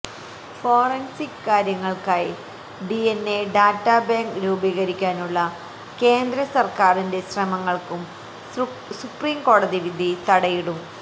forensic കാര്യങ്ങള്ക്കായി DNA data bank രൂപീകരിക്കാനുള്ള കേന്ദ്ര സര്ക്കാരിന്റെ ശ്രമങ്ങള്ക്കും സുപ്രീംകോടതിവിധി തടയിടും